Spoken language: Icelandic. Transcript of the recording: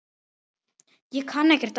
Ég kann ekkert annað.